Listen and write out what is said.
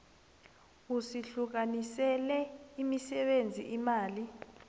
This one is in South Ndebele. usihlukanisele imisebenzi imali